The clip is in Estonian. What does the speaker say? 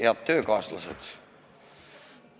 Head töökaaslased!